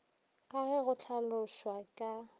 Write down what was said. ka ge go hlalošwa ka